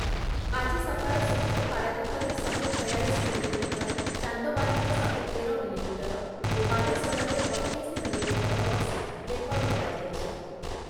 ଆଜି ସକାଳ ସୁଦ୍ଧା ପାରାଦୀପରେ ଶହେ ଛୟାଳିଶି ମିଲିମିଟର, ଚାନ୍ଦବାଲିରେ ଶହେ ତେର ମିଲିମିଟର ଓ ବାଲେଶ୍ଵରରେ ଅଠେଇଶି ମିଲିମିଟର ବର୍ଷା ରେକର୍ଡ କରାଯାଇଛି ।